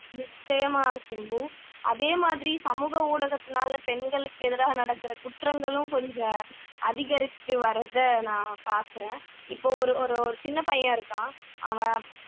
நிச்சயமா சிம்பு அதே மாதிரி சமூக ஊடகத்துனால பெண்களுக்கெதிரா நடக்கிற குற்றங்களும் கொஞ்சம் அதிகரிச்சிட்டு வர்றதை நான் பாக்குறேன் இப்போ ஒரு ஒரு ஒரு சின்னப்பையன் இருக்கான்